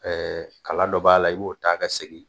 Ɛɛ kala dɔ b'a la i b'o taa ka segin